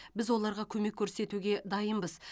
біз оларға көмек көрсетуге дайынбыз